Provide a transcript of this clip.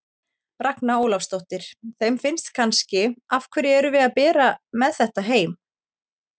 Ragna Ólafsdóttir: Þeim finnst kannski, af hverju erum við að bera með þetta heim?